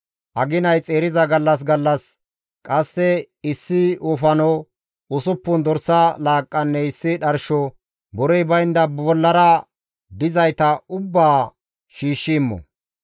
Aginay xeeriza gallas gallas qasse issi wofano, usuppun dorsa laaqqanne issi dharsho, borey baynda bollara dizayta ubbaa shiishshi immo.